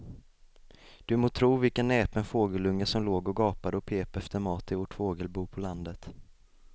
Du må tro vilken näpen fågelunge som låg och gapade och pep efter mat i vårt fågelbo på landet.